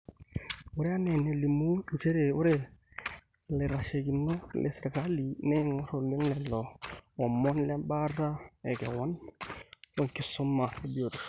ore ena nelimu njere ore ilatasheikinok le sirkali neeingor oleng lelo omon lebaata ekewon wenkisuma e biotishu